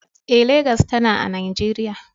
Eh, Legas tana a Najeriya.